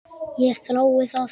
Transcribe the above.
Ég þrái það.